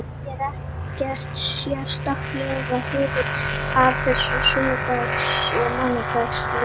Ég er ekkert sérstaklega hrifinn af þessum sunnudags og mánudags leikjum.